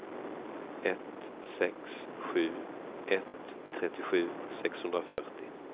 ett sex sju ett trettiosju sexhundrafyrtio